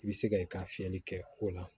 I bɛ se ka i ka fiyɛli kɛ o la